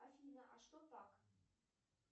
афина а что так